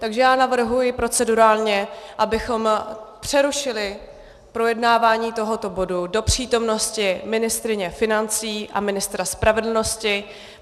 Takže já navrhuji procedurálně, abychom přerušili projednávání tohoto bodu do přítomnosti ministryně financí a ministra spravedlnosti.